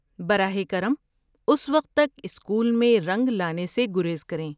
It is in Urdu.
براہ کرم، اس وقت تک اسکول میں رنگ لانے سے گریز کریں۔